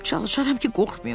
Çalışaram ki, qorxmayım.